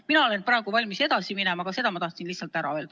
Mina olen praegu valmis edasi minema, aga selle ma tahtsin lihtsalt ära öelda.